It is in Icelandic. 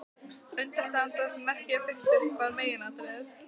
Undirstaðan, það sem verkið er byggt upp af, var meginatriðið.